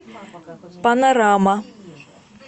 панорама